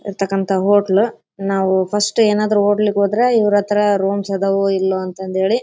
ಇರ್ತಕ್ಕಂತ ಹೋಟೆಲ್ ನಾವು ಫಸ್ಟ್ ಏನಾದ್ರು ಹೋಟೆಲ್ ಗೆ ಹೋದ್ರೆ ಇವ್ರತ್ರ ರೂಮ್ಸ್ ಅದಾವೋ ಇಲ್ವೋ ಅಂತೇಳಿ--